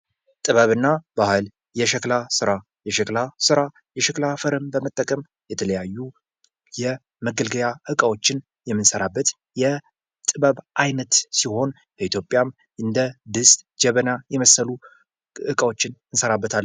ጥበብና ባህል፤ የሸክላ ስራ፦ የሸክላ ስራ የሸክላ አፈርን በመጠቀም የተለያዩ የመገልገያ እቃዎችን የምሰራበት የጥበብ ዓይነት ሲሆን በኢትዮጵያም እንደ ድስት ጀበና የመሰሉ ዕቃዎችን እንሰራበታን